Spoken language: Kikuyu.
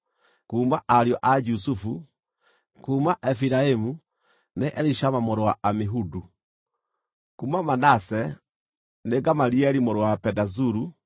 kuuma ariũ a Jusufu: kuuma Efiraimu, nĩ Elishama mũrũ wa Amihudu; kuuma Manase, nĩ Gamalieli mũrũ wa Pedazuru;